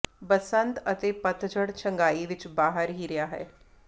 ਬਸੰਤ ਅਤੇ ਪਤਝੜ ਛੰਗਾਈ ਵਿੱਚ ਬਾਹਰ ਹੀ ਰਿਹਾ ਹੈ